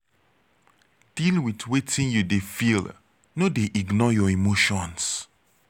deal with wetin you de feel no de ignore your emotions